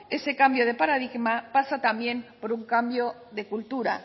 ese cambio de paradigma pasa también por un cambio de cultura